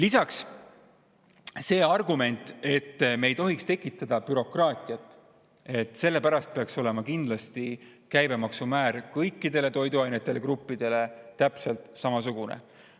On ka argument, et me ei tohiks tekitada bürokraatiat ja sellepärast peaks olema kindlasti käibemaksumäär kõikidel toiduainegruppidel täpselt samasugune.